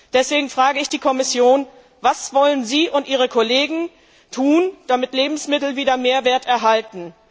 Deswegen frage ich die Kommission Was wollen Sie und ihre Kollegen tun, damit Lebensmittel wieder mehr Wert erhalten?